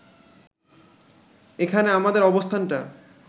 এখানে আমাদের অবস্থানটা